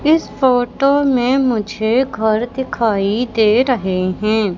इस फोटो में मुझे घर दिखाई दे रहे हैं।